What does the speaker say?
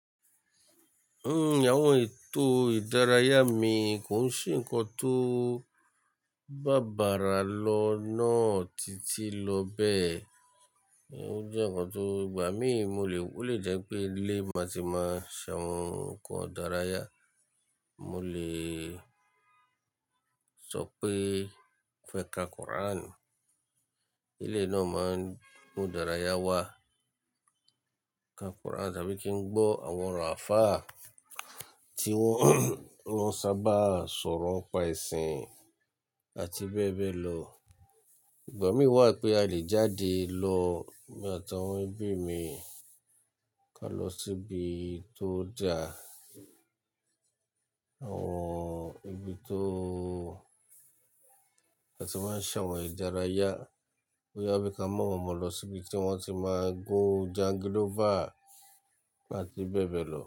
N, àwọn ètò ìdárayá mi kò sí nǹkan tó bá bára lọ náà títí lọ bẹ́ẹ̀. Ó jẹ́ nǹkan tó gbà mí, mo lè, ó lè jẹ́ pé ilé màá ti máa ṣe àwọn nǹkan ìdárayá. Mo lè sọ pé mo fẹ́ ka Quran. Ilé náà máa ń mú ìdárayá wá, ka Quran tàbí kí n gbọ́ àwọn allfa tí wọ́n sábà ń sọ̀rọ̀ ńi pa ẹ̀sìn àti bẹ́ẹ̀ bẹ́ẹ̀ lọ. Ìgbà mí wà pé a lè jáde lọ, èmi àti àwọn ẹbí mi, ká lọ síbi tó da. Àwọn ibi tó wọ́n ti máa ń ṣe àwọn ìdárayá. Ó yá bí ká mú àwọn ọmọ lọ síbi tí wọ́n ti máa gun jangilófà àti bẹ́ẹ̀ bẹ́ẹ̀ lọ.